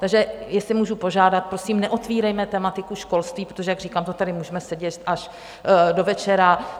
Takže jestli můžu požádat, prosím, neotvírejme tematiku školství, protože jak říkám, to tady můžeme sedět až do večera.